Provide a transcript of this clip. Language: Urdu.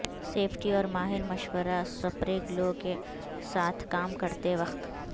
سیفٹی اور ماہر مشورہ سپرے گلو کے ساتھ کام کرتے وقت